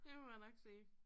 Det må jeg nok sige